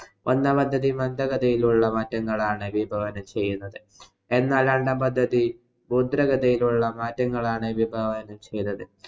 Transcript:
ഒന്നാം പദ്ധതി മന്ദഗതിയിലുള്ള മാറ്റങ്ങളാണ് വിഭാവന ചെയ്യുന്നത്. എന്നാല്‍ രണ്ടാം പദ്ധതി ഗതിയിലുള്ള മാറ്റങ്ങളാണ് വിഭാവന ചെയ്തത്.